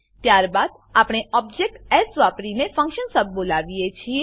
ત્યારબાદ આપણે object s વાપરીને ફંક્શન સબ બોલાવીએ છીએ